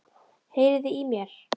Heyriði í mér?